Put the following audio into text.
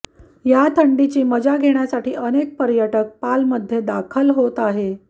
या थंडीचा मजा घेण्यासाठी अनेक पर्यटक पाल मध्ये दाखल होत आहे